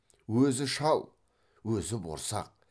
өзі шал өзі борсақ